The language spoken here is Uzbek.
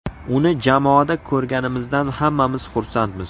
Uni jamoada ko‘rganimizdan hammamiz xursandmiz.